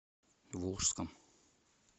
волжском